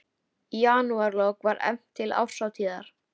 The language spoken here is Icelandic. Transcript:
Í janúarlok var efnt til árshátíðar